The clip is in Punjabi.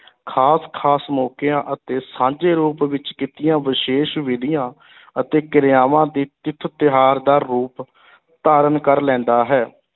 ਖ਼ਾਸ-ਖ਼ਾਸ ਮੌਕਿਆਂ ਅਤੇ ਸਾਂਝੇ ਰੂਪ ਵਿੱਚ ਕੀਤੀਆਂ ਵਿਸ਼ੇਸ਼ ਵਿਧੀਆਂ ਅਤੇ ਕਿਰਿਆਵਾਂ ਦੀ ਤਿਥ ਤਿਉਹਾਰ ਦਾ ਰੂਪ ਧਾਰਨ ਕਰ ਲੈਂਦਾ ਹੈ,